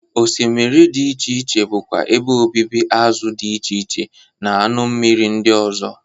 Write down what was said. Osmiri dị iche iche bụkwa ebe obibi azụ dị iche iche na anụ mmiri ndị ọzọ.